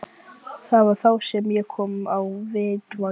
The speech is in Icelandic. Þjóðviljans og Kristján Bersi Ólafsson ritstjóri Alþýðublaðsins.